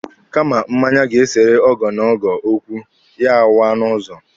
Kama mmanya ga-esere ogo na ogo okwu, ya waa n'ụzọ.